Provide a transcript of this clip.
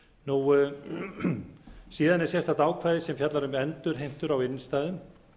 breytingartillögunum eða er sérstakt ákvæði sem fjallar um endurheimtur á innstæðum